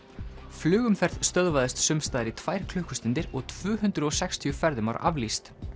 flugumferð stöðvaðist sumsstaðar í tvær klukkustundir og tvö hundruð og sextíu ferðum var aflýst